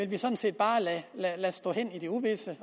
vi sådan set bare vil lade stå hen i det uvisse